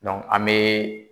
an bɛ.